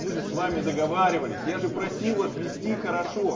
мы же с вами договаривались я же просил вас вести хорошо